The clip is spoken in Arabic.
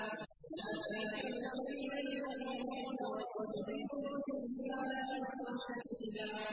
هُنَالِكَ ابْتُلِيَ الْمُؤْمِنُونَ وَزُلْزِلُوا زِلْزَالًا شَدِيدًا